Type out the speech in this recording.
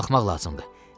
Qalxmaq lazımdır.